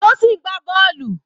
Tosin ń gbá bọ́ọ̀lù.